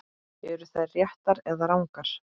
Eru þær réttar eða rangar?